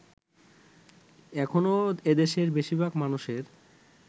এখনো এদেশের বেশিরভাগ মানুষের